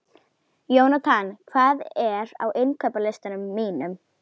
Jónatan, hvað er á innkaupalistanum mínum?